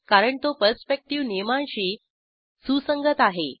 कारण तो परस्पेक्टिव्ह नियमांशी सुसंगत आहे